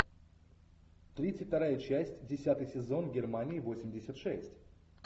тридцать вторая часть десятый сезон германии восемьдесят шесть